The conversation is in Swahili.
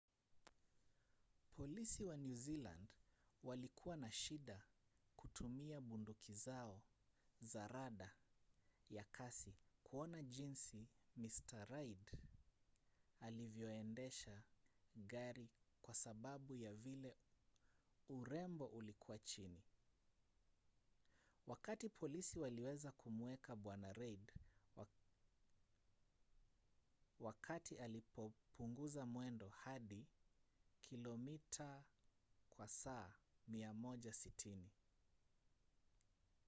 polisi wa new zealand walikua na shida kutumia bunduki zao za rada ya kasi kuona jinsi mr reid alivyoendesha gari kwa sababu ya vile urembo ulikua chini wakati polisi waliweza kumuweka bwana reid wakati alipopunguza mwendo hadi 160 km/h